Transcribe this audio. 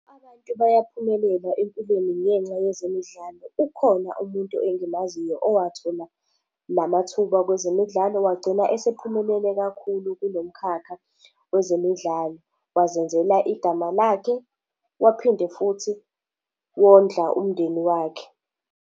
Abantu bayaphumelela empilweni ngenxa yezemidlalo. Ukhona umuntu engimaziyo owathola la mathuba kwezemidlalo wagcina esephumelele kakhulu kulo mkhakha wezemidlalo. Wazenzela igama lakhe waphinde futhi wondla umndeni wakhe.